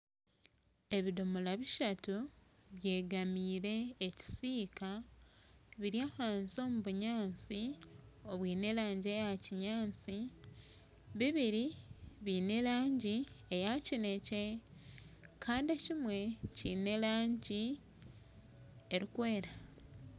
Ebidomora bishatu byegamire ekisika biri ahansi omu bunyansi obwine erangi eya kinyansi bibiri biine erangi eya kinekye Kandi ekimwe kiine erangi erikwera.